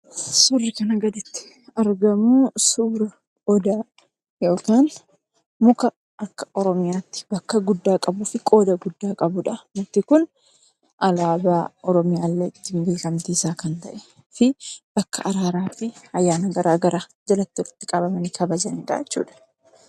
Suurri kana gaditti argamu Odaa yookaan muka akka oromiyaatti bakka guddaa qabufi qooda guddaa qabudha. Mukti Kun alaabaa Oromiyaallee ittiin beekamtiisaa kan ta'eefi bakka araara fi ayyaana garaan garaan jalatti walitti qabamani kabajan dha jechuudha.